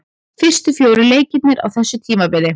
Fyrstu fjórir leikirnir á þessu tímabili.